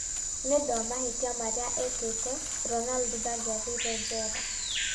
Nĩ ũndũ wa mahĩtia marĩa ekĩte, Ronaldo ndangĩathire njera.